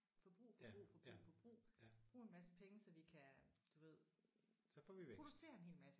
Forbrug forbrug forbrug forbrug brug en masse penge så vi kan du ved producere en hel masse